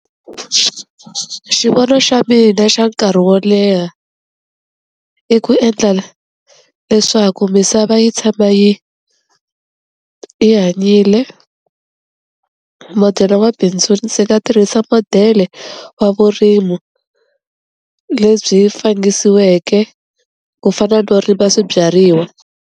Xivono xa mina xa nkarhi wo leha i ku endlela leswaku misava yi tshama yi yi hanyile modele wa bindzu ndzi nga tirhisa modele wa vurimi lebyi fangisiweke ku fana no rima swibyariwa.